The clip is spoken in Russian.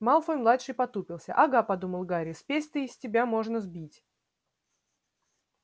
малфой-младший потупился ага подумал гарри спесь-то и с тебя можно сбить